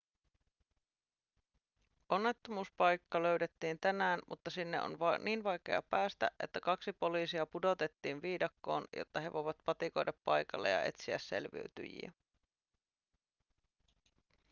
onnettomuuspaikka löydettiin tänään mutta sinne on niin vaikea päästä että kaksi poliisia pudotettiin viidakkoon jotta he voivat patikoida paikalle ja etsiä selviytyjiä